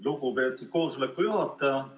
Lugupeetud koosoleku juhataja!